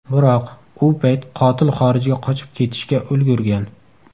Biroq, u payt qotil xorijga qochib ketishga ulgurgan.